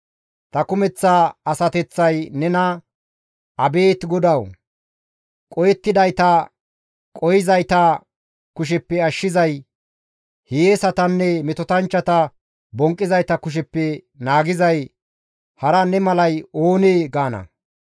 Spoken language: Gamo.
Ta kumeththa asateththay nena, «Abeet GODAWU! Qohettidayta qohizayta kusheppe ashshizay, hiyeesatanne metotanchchata bonqqizayta kusheppe naagizay hara ne malay oonee?» gaana.